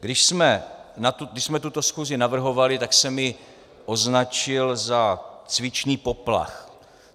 Když jsme tuto schůzi navrhovali, tak jsem ji označil za cvičný poplach.